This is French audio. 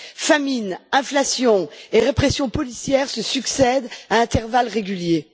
Famine, inflation et répression policière se succèdent à intervalles réguliers.